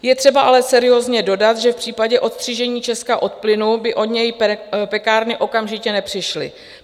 Je třeba ale seriózně dodat, že v případě odstřižení Česka od plynu by o něj pekárny okamžitě nepřišly.